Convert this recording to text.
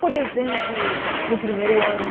Por exemplo, no primeiro ano.